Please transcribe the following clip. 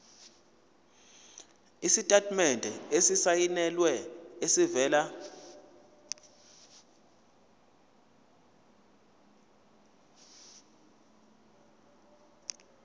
isitatimende esisayinelwe esivela